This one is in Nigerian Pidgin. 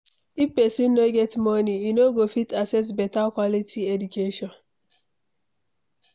If pesin no get money, e no go fit access beta quality education